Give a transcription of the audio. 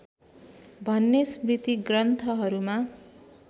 भन्ने स्मृतिग्रन्थहरूमा